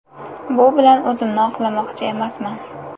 Bu bilan o‘zimni oqlamoqchi emasman.